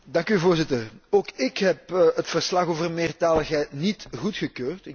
Voorzitter, ook ik heb het verslag over meertaligheid niet goedgekeurd.